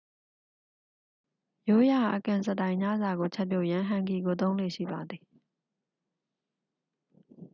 ရိုးရာ အကင်စတိုင်ညစာကိုချက်ပြုတ်ရန် ဟန်ဂီကိုသုံးလေ့ရှိပါသည်